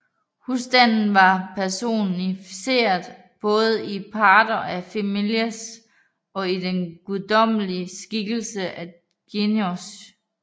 Husstanden var personificeret både i pater familias og i den guddommelige skikkelse genius